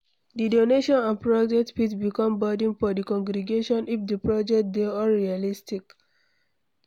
Di donation and project fit become burden for di congregation if di project dey unrealistic